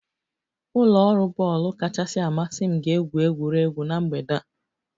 Ụlọ ọrụ bọọlụ kachasị amasị m ga-egwu egwuregwu na mgbede a